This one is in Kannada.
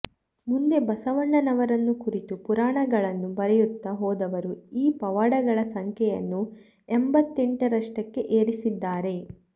ಮುಂದೆ ಬಸವಣ್ಣನವರನ್ನು ಕುರಿತು ಪುರಾಣಗಳನ್ನು ಬರೆಯುತ್ತಾ ಹೋದವರು ಈ ಪವಾಡಗಳ ಸಂಖ್ಯೆಯನ್ನು ಎಂಬತ್ತೆಂಟರಷ್ಟಕ್ಕೆ ಏರಿಸಿದ್ದಾರೆ